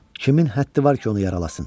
Kimin həddi var ki, onu yaralasın?